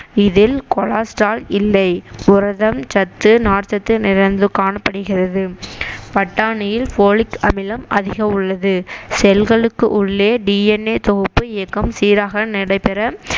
இதில் கொலெஸ்டெரால் இல்லை புரதம் சத்து நார்ச்சத்து நிறைந்து காணப்படுகிறது பட்டாணியில் folic அமிலம் அதிகம் உள்ளது cell ளுக்கு உள்ளே DNA தொகுப்பு இயக்கம் சீராக நடைபெற